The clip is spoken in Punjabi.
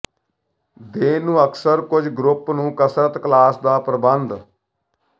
ਦੇਣ ਨੂੰ ਅਕਸਰ ਕੁਝ ਗਰੁੱਪ ਨੂੰ ਕਸਰਤ ਕਲਾਸ ਦਾ ਪ੍ਰਬੰਧ